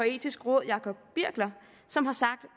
etiske råd jacob birkler som har sagt